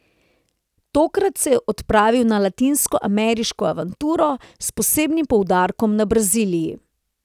Tokrat se je odpravil na latinskoameriško avanturo, s posebnim poudarkom na Braziliji.